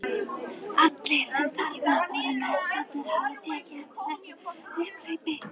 Allir sem þarna voru nærstaddir höfðu tekið eftir þessu upphlaupi.